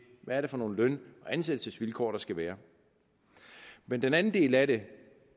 er for nogle løn og ansættelsesvilkår der skal være men den anden del af det